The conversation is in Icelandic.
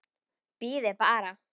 Bíðið bara.